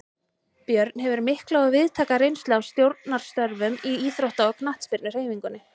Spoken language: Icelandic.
Björn hefur mikla og víðtæka reynslu af stjórnarstörfum í íþrótta- og knattspyrnuhreyfingunni.